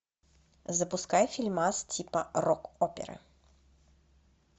запускай фильмас типа рок опера